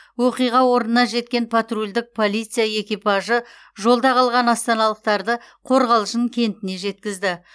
оқиға орнына жеткен патрульдік полиция экипажы жолда қалған астаналықтарды қорғалжын кентіне жеткізді